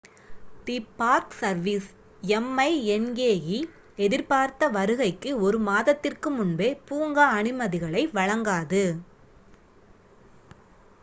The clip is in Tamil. தி பார்க் சர்வீஸ் minae எதிர்பார்த்த வருகைக்கு ஒரு மாதத்திற்கு முன்பே பூங்கா அனுமதிகளை வழங்காது